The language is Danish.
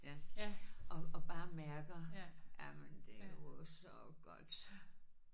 Ja og og bare mærker jamen det er jo så godt